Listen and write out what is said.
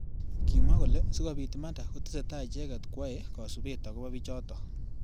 Kimwa kole sikobit imanda kotesetai icheket kwae kasubet akobo bichotok.